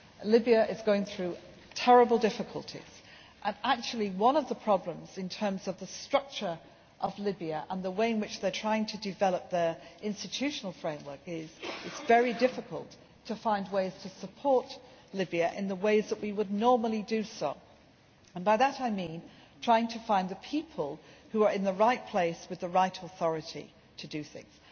Libya is going through terrible difficulties and actually one of the problems, in terms of the structure of Libya and how they are trying to develop their institutional framework, is that it is very difficult to support Libya in the ways that we normally do by which I mean trying to find the people who are in the right place, with the right authority to do things.